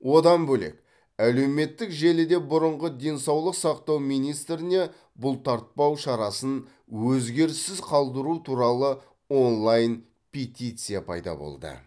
одан бөлек әлеуметтік желіде бұрынғы денсаулық сақтау министріне бұлтартпау шарасын өзгеріссіз қалдыру туралы онлайн петиция пайда болды